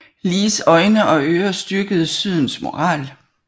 Lees øjne og ører og styrkede Sydens moral